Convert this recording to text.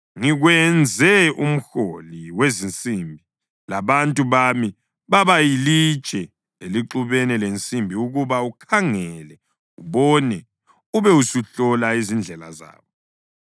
“Ngikwenze umhloli wezinsimbi labantu bami babayilitshe elixubene lensimbi ukuba ukhangele ubone ube usuhlola izindlela zabo.